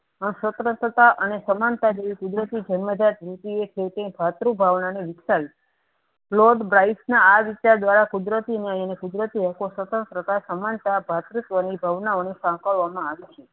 અ સ્તર સત્તા અને સમાનતા જેવી કુદરતી જન્મ જાત ભાતૃ ભાવનાને વિક્શાવી lord bright ના આવિચાર દ્વારા કુદરતી ન્યાયને કુદરતી હકો સ્વંતંત્રતા સમાનતા ભાતૃવની ભાવના ઓને શકવામાં આવી